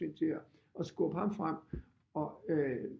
Med hensyn til at skubbe ham frem